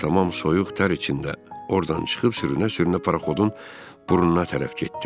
Mən də tamam soyuq tər içində ordan çıxıb sürünə-sürünə paraxodun burnuna tərəf getdim.